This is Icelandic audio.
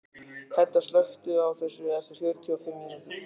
Hedda, slökktu á þessu eftir fjörutíu og fimm mínútur.